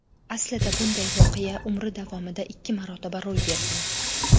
Aslida bunday voqea umri davomida ikki marotaba ro‘y bergan.